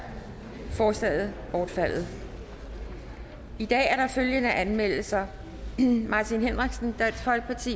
forslaget bortfaldet i dag er der følgende anmeldelser martin henriksen